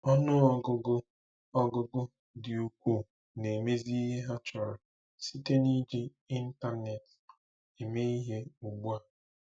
Ọnụ ọgụgụ ọgụgụ dị ukwuu na-emezi ihe ha chọrọ site na iji Intanet eme ihe ugbu a.